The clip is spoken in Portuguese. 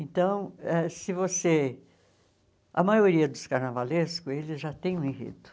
Então, ãh se você... A maioria dos carnavalescos, eles já têm um enredo.